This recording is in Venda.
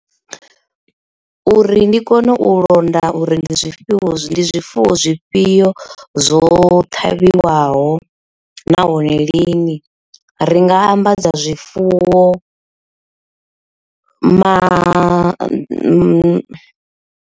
Uri ndi kone u londa uri ndi zwifhio ndi zwifuwo zwifhio zwo ṱavhiwaho nahone lini ri nga ambadza zwifuwo ma .